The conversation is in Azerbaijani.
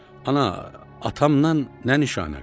Ana, atamdan nə nişanə qalıb?